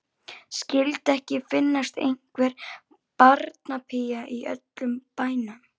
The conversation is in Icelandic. Skyldi ekki finnast einhver barnapía í öllum bænum.